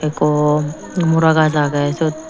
ekko mora gaz age sot.